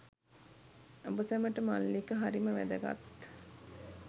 ඔබ සැමට මල්ලික හරිම වැදගත්.